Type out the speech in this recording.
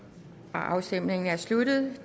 afstemningen er sluttet